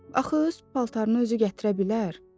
Axı öz paltarını özü gətirə bilər?